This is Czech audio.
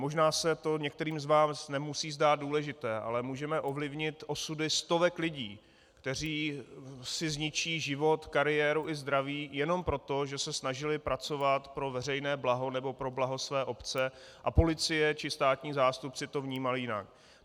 Možná se to některým z vás nemusí zdát důležité, ale můžeme ovlivnit osudy stovek lidí, kteří si zničí život, kariéru i zdraví jenom proto, že se snažili pracovat pro veřejné blaho nebo pro blaho své obce a policie či státní zástupci to vnímají jinak.